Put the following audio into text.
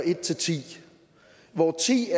må sige